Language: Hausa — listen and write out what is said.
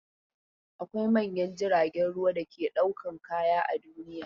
Akwai manyan jiragen ruwa da ke dakon kaya a duniya.